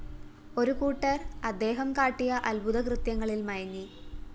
ഒരുകൂട്ടര്‍ അദ്ദേഹം കാട്ടിയ അത്ഭുതകൃത്യങ്ങളില്‍ മയങ്ങി